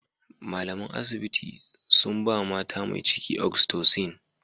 Malaman asibiti sun ba mata mai ciki "oxytocin".